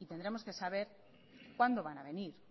y tendremos que saber cuándo van a venir